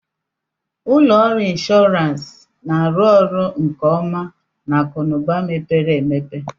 Ụlọ ọrụ inshọransị na-arụ ọrụ nke ọma na akụ na ụba mepere emepe